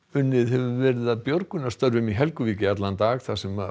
unnið hefur verið að björgunarstörfum í Helguvík í allan dag þar sem